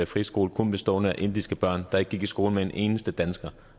friskole kun bestående af indiske børn der ikke gik i skole med en eneste dansker